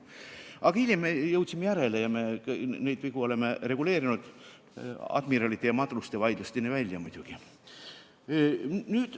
Aga hiljem me jõudsime järjele ja oleme neid vigu reguleerinud, Admiralide ja Madruste vaidlusteni välja.